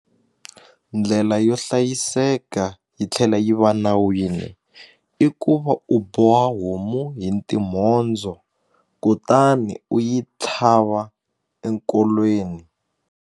Ndlela yo hlayiseka yi tlhela yi va nawini i ku va u boha homu hi timhondzo kutani u yi tlhava enkolweni.